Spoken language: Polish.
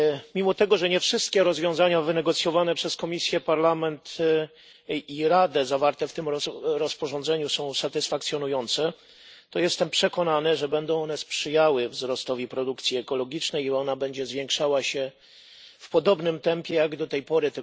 Mimo tego, że nie wszystkie rozwiązania wynegocjowane przez Komisję, Parlament i Radę zawarte w tym rozporządzeniu są satysfakcjonujące, to jestem przekonany, że będą one sprzyjały wzrostowi produkcji ekologicznej i ona będzie zwiększała się w podobnym tempie jak do tej pory.